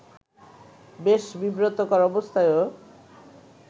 বেশ বিব্রতকর অবস্থায়ও